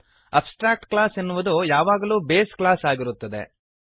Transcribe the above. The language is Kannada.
ಅಬ್ಸ್ಟ್ರ್ಯಾಕ್ಟ್ ಕ್ಲಾಸ್ ಎನ್ನುವುದು ಯಾವಾಗಲೂ ಬೇಸ್ ಕ್ಲಾಸ್ ಆಗಿರುತ್ತದೆ